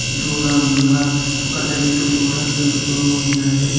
దూరంగా ఒక లైటు కూడా వెలుగుతూ ఉన్నది.